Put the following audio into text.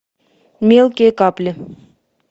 мелкие капли